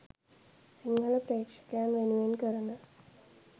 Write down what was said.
සිංහල ප්‍රේක්ෂකයන් වෙනුවෙන් කරන